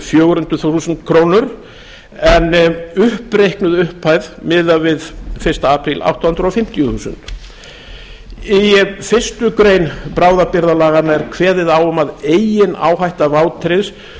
fjögur hundruð þúsund krónur en upp reiknuð upphæð miðað við fyrsta apríl átta hundruð fimmtíu þúsund í fyrstu grein bráðabirgðalaganna er kveðið á um að eigin áhætta vátryggðs